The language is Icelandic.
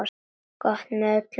Gott með öllum mat.